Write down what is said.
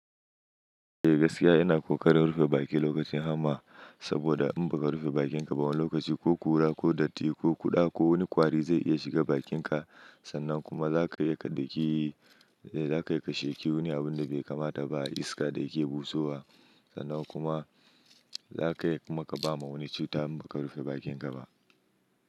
Eh gaskiya ina ƙoƙarin rufe bakin lokacin hama saboda in ba ka rufe bakinka ba wani lokaci ko ƙura ko datti ko kuɗa ko wani kwari zai iya shiga bakinka sannan kuma zaka iya ka dauki za ka yi ka shaki wani abun da bai kamata ba iska da yake busowa sannan kuma za ka kuma ka ba ma wani cuta in ba ka rufe bakinka ba.